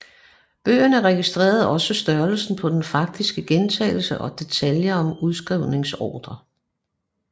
Bøgerne registrerede også størrelsen på den faktiske gentagelse og detaljer om udskrivningsordrer